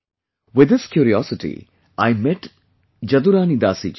With this curiosity I met Jaduarani Dasi ji